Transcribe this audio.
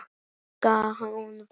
Gulla. hún var.